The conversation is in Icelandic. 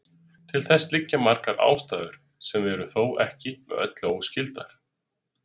Til þess liggja margar ástæður sem eru þó ekki með öllu óskyldar.